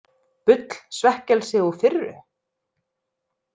Bull, svekkelsi og firru?